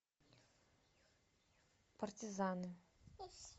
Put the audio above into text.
партизаны